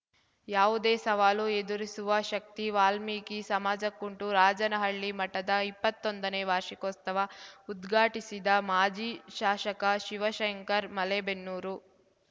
ಯಾವುದೇ ಸವಾಲು ಎದುರಿಸುವ ಶಕ್ತಿ ವಾಲ್ಮೀಕಿ ಸಮಾಜಕ್ಕುಂಟು ರಾಜನಹಳ್ಳಿ ಮಠದ ಇಪ್ಪತ್ತೊಂದನೇ ವಾರ್ಷಿಕೋಸ್ತವ ಉದ್ಘಾಟಿಸಿದ ಮಾಜಿ ಶಾಷಕ ಶಿವಶಂಕರ್ ಮಲೇಬೆನ್ನೂರು